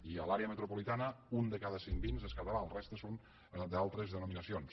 i a l’àrea metropolitana un de cada cinc vins és català la resta són d’altres denominacions